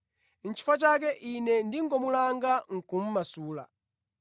Nʼchifukwa chake, ine ndingomulanga, nʼkumumasula.”